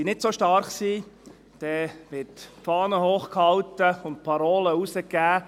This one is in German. Wenn sie nicht so stark sind, dann wird die Fahne hoch gehalten und Parolen herausgegeben: